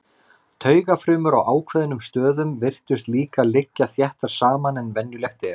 Taugafrumur á ákveðnum stöðum virtust líka liggja þéttar saman en venjulegt er.